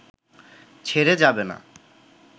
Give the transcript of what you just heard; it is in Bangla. ছেড়ে যাবে না